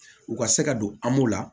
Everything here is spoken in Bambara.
U ka se ka don la